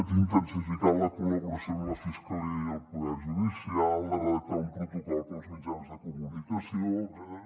d’intensificar la col·laboració amb la fiscalia i el poder judicial de redactar un protocol pels mitjans de comunicació etcètera